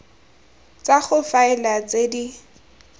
tsa go faela tse di